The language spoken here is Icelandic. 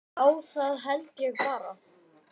Já, það held ég bara.